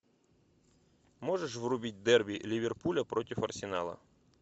можешь врубить дерби ливерпуля против арсенала